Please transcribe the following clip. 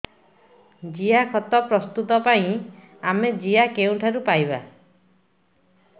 ଜିଆଖତ ପ୍ରସ୍ତୁତ ପାଇଁ ଆମେ ଜିଆ କେଉଁଠାରୁ ପାଈବା